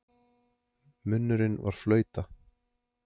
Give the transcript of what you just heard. Munnurinn var flauta.